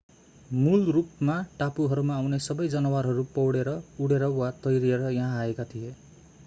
मूल रूपमा टापुहरूमा आउने सबै जनावरहरू पौडेर उँडेर वा तैरिएर यहाँ आएका थिए